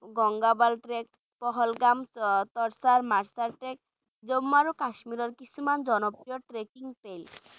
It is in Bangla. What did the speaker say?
Gangabal trek pahalgam tarsar marsar trek Jammu আৰু কাশ্মীৰৰ কিছুমান জনপ্ৰিয় trekking place